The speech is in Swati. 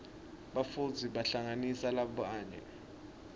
bafundzi bahlanganisa babuye